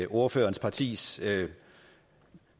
ordførerens partis